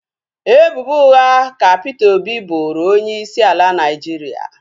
Ebubo ụgha ka Peter Obi boro onye isi ala Naijiria